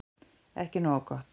Ekki nógu gott